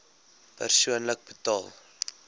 persoonlik betaal